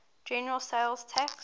general sales tax